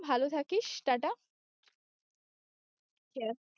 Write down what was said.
ভালো থাকিস টা টা